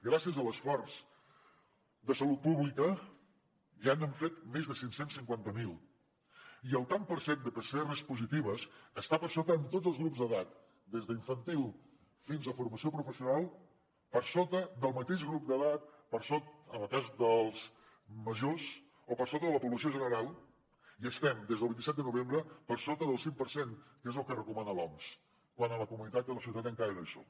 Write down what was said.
gràcies a l’esforç de salut pública ja n’han fet més de cinc cents i cinquanta miler i el tant per cent de pcrs positives està per sota en tots els grups d’edat des d’infantil fins a formació professional per sota del mateix grup d’edat en el cas dels majors o per sota de la població general i estem des del vint set de novembre per sota del cinc per cent que és el que recomana l’oms quan a la comunitat i a la societat encara no hi som